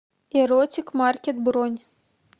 эротик маркет бронь